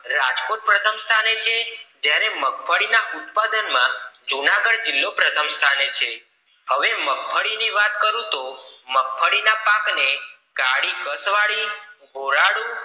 રાજકોટ પ્રથમ સ્થાને છે જ્યારે મગફળી ના ઉત્પાદન માં જૂનાગઢ જિલ્લો પ્રથમ સ્થાને છે હવે મગફળી ની વાત કરું તો મગફળી ના પાક ને કાળી કસ્વાળી ભોલાળું